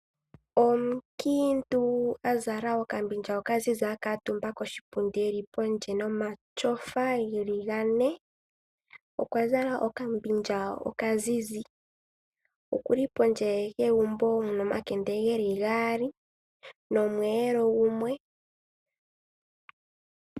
Omunkiintu azala okambilya okazizi akutuumba koshipundi eli pondje nomatyofa geli gane, okwa zala okambilya okazizi okuli pondje yegumbo muna omakende geli gaali nomweelo gumwe.